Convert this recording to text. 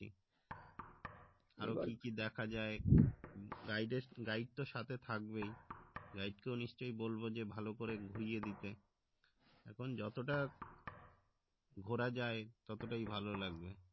আরো কি কি দেখা যায় guide তো সাথে থাকবেই guide কেউ নিশ্চই বলবো যে ভালো করে ঘুরিয়ে দিতে এখন যতটা ঘোরা যায় ততটাই ভালো লাগবে